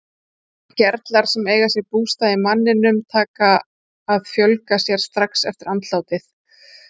Gerlar sem eiga sér bústað í manninum taka að fjölga sér strax eftir andlátið.